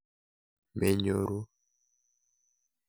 Menyoru.